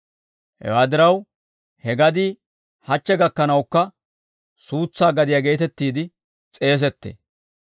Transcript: Hewaa diraw, he gadii hachche gakkanawukka, suutsaa gadiyaa geetettiide s'eesettee.